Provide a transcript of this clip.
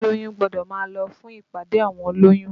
Olóyún gbọ́dọ̀ máa lọ fún ìpàdé àwọn olóyún